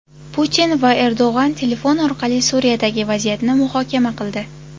Putin va Erdo‘g‘on telefon orqali Suriyadagi vaziyatni muhokama qildi.